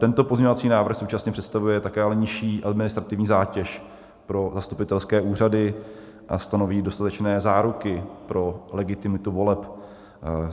Tento pozměňovací návrh současně představuje také ale nižší administrativní zátěž pro zastupitelské úřady a stanoví dostatečné záruky pro legitimitu voleb.